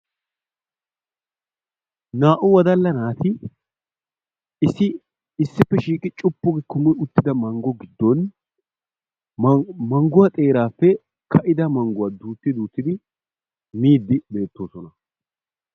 Naa''u wodalla naati issi issippe shiiqi cuppu gi kummi uttida manggo giddon mangguwaa xeerappe kaa'ida mangguwaa duutti duuttidi miiddi beettoosona.